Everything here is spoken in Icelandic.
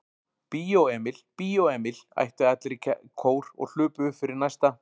Bíó Emil, Bíó Emil. æptu allir í kór og hlupu upp fyrir næsta